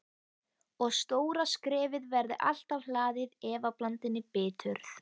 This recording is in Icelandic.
Og stóra skrefið verði alltaf hlaðið efablandinni biturð.